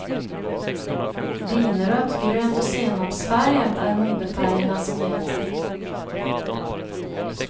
Vinrött, grönt och senapsfärgat är modefärgerna som gäller.